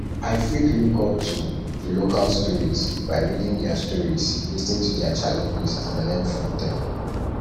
i fit look up to to local success stories by reading their stories lis ten to their challenges and learn from dem